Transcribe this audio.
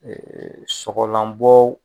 sɔgɔlanbɔ